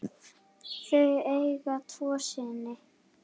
Þau eiga tvo syni.